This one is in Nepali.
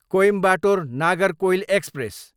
कोइम्बाटोर, नागरकोइल एक्सप्रेस